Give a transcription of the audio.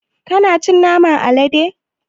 Kana cin naman alade?